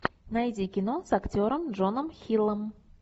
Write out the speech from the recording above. найди кино с актером джоном хиллом